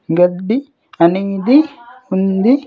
గడ్డి అనేది ఉంది.